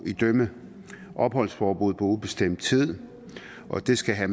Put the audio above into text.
idømme opholdsforbud på ubestemt tid og det skal have